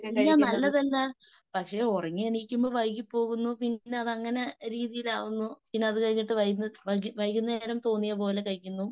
ഇല്ല നല്ലതല്ല. പക്ഷെ ഉറങ്ങി എണീക്കുമ്പൊ വൈകിപോകുന്നു.പിന്നെ അതങ്ങനെ രീതിയിലാകുന്നു. പിന്നെ അതുകഴിഞ്ഞിട്ട് വൈകുന്നേരം തോന്നിയപോലെ കഴിക്കുന്നു